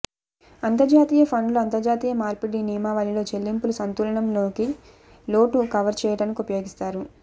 అంతర్జాతీయ ఫండ్లు అంతర్జాతీయ మార్పిడి నియమావళిలో చెల్లింపులు సంతులనం లోటు కవర్ చేయడానికి ఉపయోగిస్తారు